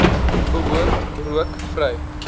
behoort rook vry